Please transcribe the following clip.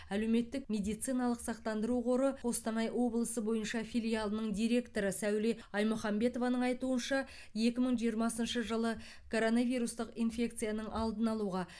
әлеуметтік медициналық сақтандыру қоры қостанай облысы бойынша филиалының директоры сәуле аймұхамбетованың айтуынша екі мың жиырмасыншы жылы коронавирустық инфекцияның алдын алуға